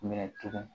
Minɛ tugun